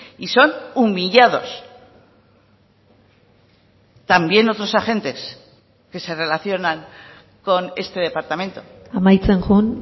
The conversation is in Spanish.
y son humillados también otros agentes que se relacionan con este departamento amaitzen joan